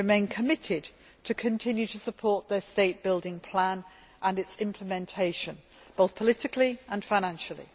We remain committed to continuing to support their state building plan and its implementation, both politically and financially.